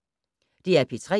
DR P3